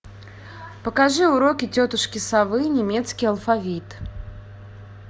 покажи уроки тетушки совы немецкий алфавит